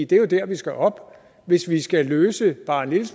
det er jo der vi skal op hvis vi skal løse bare en lille